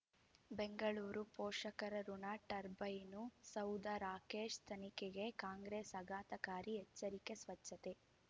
ಬೆಂಗಳೂರು ಪೋಷಕರಋಣ ಟರ್ಬೈನು ಸೌಧ ರಾಕೇಶ್ ತನಿಖೆಗೆ ಕಾಂಗ್ರೆಸ್ ಆಘತಕಾರಿ ಎಚ್ಚರಿಕೆ ಸ್ವಚ್ಛತೆ